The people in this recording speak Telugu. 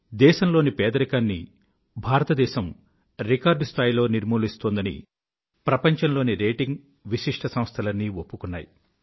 దేశంలోని పేదరికాన్ని భారతదేశం రికార్డ్ స్థాయిలో నిర్మూలిస్తోందని ప్రపంచంలోని రేటింగ్ విశిష్ట సంస్థలన్నీ ఒప్పుకున్నాయి